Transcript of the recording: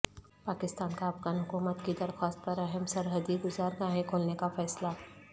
پاکستان کا افغان حکومت کی درخواست پر اہم سرحدی گزرگاہیں کھولنے کا فیصلہ